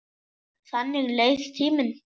Þannig leið tíminn.